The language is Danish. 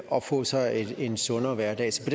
og få sig en sundere hverdag så